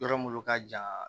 Yɔrɔ minnu ka jan